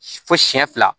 Fo siyɛn fila